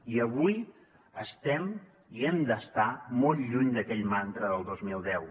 i avui estem i hem d’estar molt lluny d’aquell mantra del dos mil deu